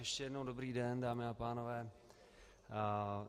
Ještě jednou dobrý den, dámy a pánové.